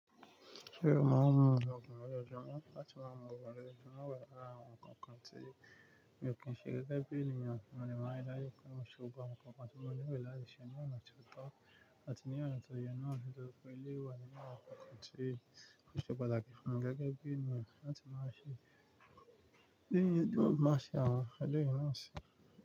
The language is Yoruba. Ṣé o máa ń mu ògùn lójojúmọ́ láti máa mu ògùn lójojúmọ́ wẹ̀, àwọn nǹkan kan tí mi ò kí n ṣe gẹ́gẹ́ bí ènìyàn, mo dẹ̀ máa rí dájú pé mo ṣe gbogbo àwọn nǹkan kan tí mo lè rí láàyè ṣe ní ònà tí ó tọ̀ àti ní ọ̀nà tó yẹ náà, nítorí pé èléyìí wà ní àwọn àwọn nkan kan tí ò ṣe pàtàkì fún mí gẹ́gẹ́ bí ènìyàn láti má ṣe, bí ènìyàn tó má ṣe, àwọn èléyìí náà si.